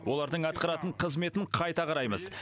олардың атқаратын қызметін қайта қараймыз